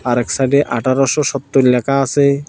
আর এক সাইডে আঠারোশো সত্তর লেখা আসে।